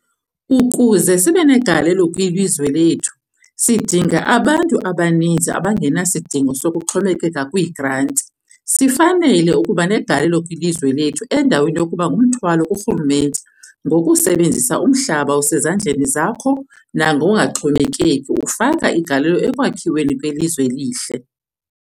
Ukuze sibe negalelo kwilizwe lethu, sidinga abantu abaninzi abangenasidingo sokuxhomekeka kwiigranti - sifanele ukuba negalelo kwilizwe lethu endaweni yokuba ngumthwalo kurhulumente. Ngokusebenzisa umhlaba osezandleni zakho, nangokungaxhomekeki, ufaka igalelo ekwakhiweni kwelizwe elihle.